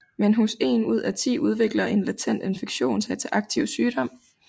Men hos én ud af ti udvikler en latent infektion sig til aktiv sygdom